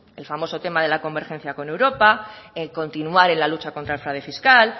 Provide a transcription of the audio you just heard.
el famoso tema de la convergencia con europa en continuar en la lucha contra el fraude fiscal